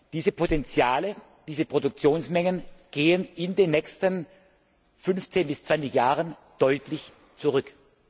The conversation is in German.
Diese Potenziale, diese Produktionsmengen gehen in den nächsten 15 bis 20 Jahren deutlich zurück.